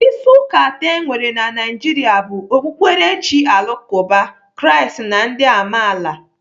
Isi ụka atọ enwere na Naijiria bụ okpukperechi alakụba, Kraist na ndị amaala.